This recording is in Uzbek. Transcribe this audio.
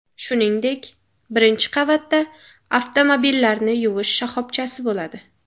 Shuningdek, birinchi qavatda avtomobillarni yuvish shoxobchasi bo‘ladi.